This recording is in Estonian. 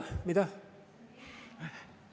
Mida?